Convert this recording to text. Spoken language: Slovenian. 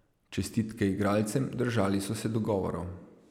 Čestitke igralcem, držali so se dogovorov.